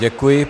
Děkuji.